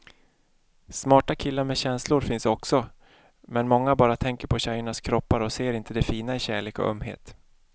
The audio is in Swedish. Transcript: Smarta killar med känslor finns också, men många bara tänker på tjejernas kroppar och ser inte det fina i kärlek och ömhet.